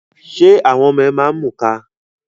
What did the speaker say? Ṣé àwọn ọmọ ẹ máa ń mù ka?